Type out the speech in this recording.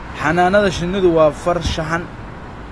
Xannaanada shinnidu waa farshaxan.